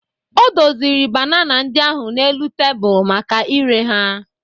O doziri banana ndị ahụ n'elu tebụl maka ire ha.